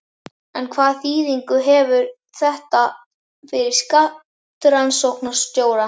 En hvaða þýðingu hefur þetta fyrir skattrannsóknarstjóra?